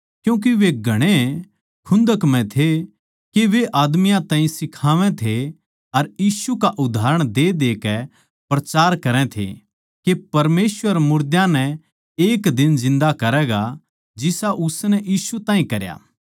क्यूँके वे घणे खुन्दक म्ह थे के वे आदमियाँ ताहीं सिखावै थे अर यीशु का उदाहरण देदेकै प्रचार करै थे के परमेसवर मुर्दां नै एक दिन जिन्दा करैगा जिसा उसनै यीशु ताहीं करया